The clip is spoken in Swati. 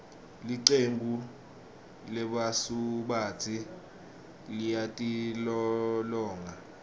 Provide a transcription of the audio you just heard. licembu lebasubatsi liyatilolonga